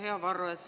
Hea Varro!